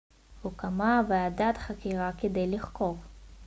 הוקמה ועדת חקירה כדי לחקור